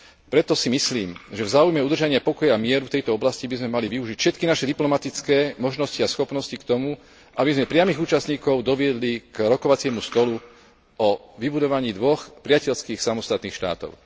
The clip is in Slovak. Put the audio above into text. Preto si myslím, že v záujme udržania pokoja mieru v tejto oblasti by sme mali využiť všetky naše diplomatické možnosti a schopnosti k tomu, aby sme priamych účastníkov doviedli k rokovaciemu stolu o vybudovaní dvoch priateľských samostatných štátov.